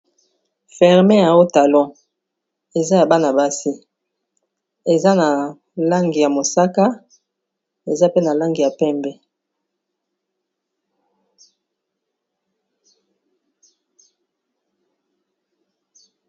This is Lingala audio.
ferme ya otalon eza ya bana base eza na langi ya mosaka eza pe na langi ya pembe